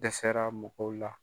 Dɛsɛra mɔgɔw la.